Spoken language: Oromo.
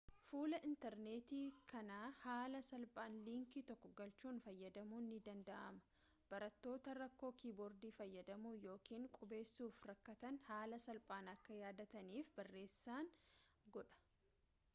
fuula intarneetii kana haala salphaan liinkii tokko galchuun fayyadamuun ni danda'ama barattoota rakkoo kiiboordii fayyadamuu yookaan qubeessuuf rakkatanhaala salphaan akka yaadataniif barreessan godha